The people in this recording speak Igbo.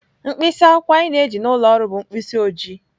Mkpịsị akwụkwọ anyị na-eji n'ụlọ ọrụ bụ mkpịsị oji.